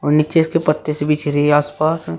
नीचे इसके पत्ते से बिछ रही आस पास।